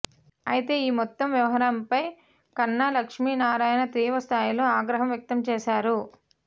అయితే ఈ మొత్తం వ్యవహారం పై కన్నా లక్ష్మీ నారాయణ తీవ్ర స్థాయిలో ఆగ్రహం వ్యక్తం చేశారు